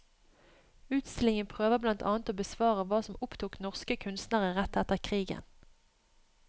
Utstillingen prøver blant annet å besvare hva som opptok norske kunstnere rett etter krigen.